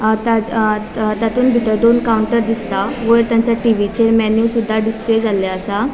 अ ता तातुन बितर दोन काउन्टर दिसता वयर तांच्या टीवीचेर मेनू सुदा डिस्प्ले झाले असा.